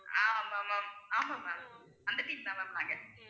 ஆமா ma'am ஆமா ma'am அந்த team தான் ma'am நாங்க